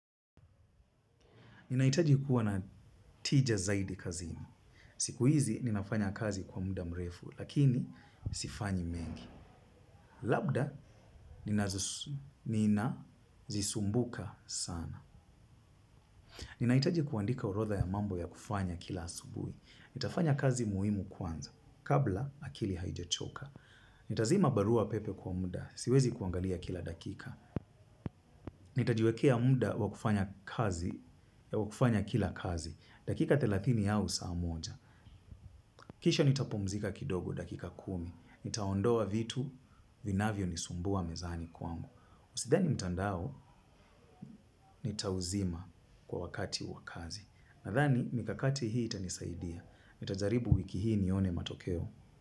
Ninahitaji kuwa na tija zaidi kazini. Siku hizi ninafanya kazi kwa muda mrefu lakini sifanyi mengi. Labda nina zisumbuka sana. Ninahitaji kuandika horodha ya mambo ya kufanya kila asubuhi. Nitafanya kazi muhimu kwanza, kabla akili haijachoka. Nitazima barua pepe kwa muda, siwezi kuangalia kila dakika. Nitajiwekea muda wakufanya kazi, wakufanya kila kazi, dakika thelathini au saa moja. Kisha nitapumzika kidogo dakika kumi. Nitaondoa vitu, vinavyo nisumbua mezani kwangu. Usidhani mtandao, nitauzima kwa wakati wakazi. Nadhani, mikakati hii itanisaidia. Nitajaribu wiki hii nione matokeo.